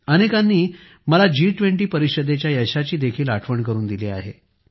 अनेकांनी मला G20 परिषदेच्या यशाची देखील आठवण करून दिली आहे